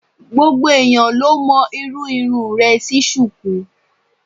Gbogbo ẹ̀yán ló mọ irú irun rẹ̀ sí Ṣùkú.